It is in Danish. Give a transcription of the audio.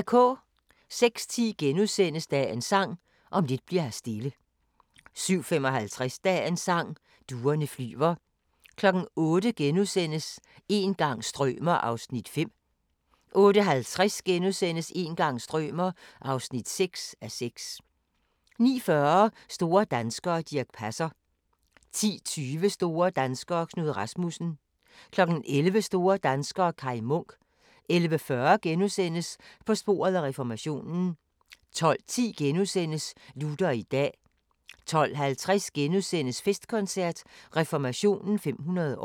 06:10: Dagens Sang: Om lidt bli'r her stille * 07:55: Dagens Sang: Duerne flyver 08:00: Een gang strømer ... (5:6)* 08:50: Een gang strømer ... (6:6)* 09:40: Store danskere - Dirch Passer 10:20: Store danskere - Knud Rasmussen 11:00: Store danskere - Kai Munk 11:40: På sporet af reformationen * 12:10: Luther i dag * 12:50: Festkoncert – Reformationen 500 år *